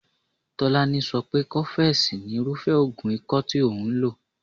Tolani so pé cofex ni irúfé oògùn ikọ́ tí òun lò.